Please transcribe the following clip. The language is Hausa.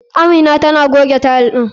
Amina tana goge tile ɗin.